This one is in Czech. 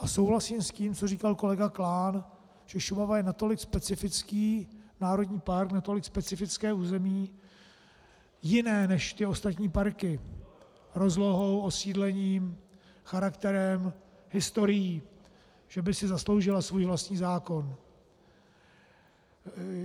A souhlasím s tím, co říkal kolega Klán, že Šumava je natolik specifický národní park, natolik specifické území, jiné než ty ostatní parky, rozlohou, osídlením, charakterem, historií, že by si zasloužila svůj vlastní zákon.